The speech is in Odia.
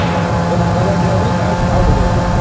ଓଃ cover drive ରେ ସେ out out ହେଇଯାଉଥିଲା।